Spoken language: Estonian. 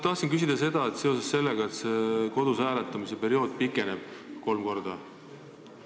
Tahtsin küsida seoses sellega, et see kodus hääletamise periood pikeneb kolm korda.